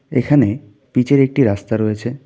এখানে পিচের একটি রাস্তা রয়েছে.